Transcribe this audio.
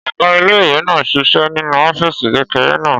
Ọ̀gá ilé-ìwé náà ṣiṣẹ́ nínú ọ́fìsì kékeré náà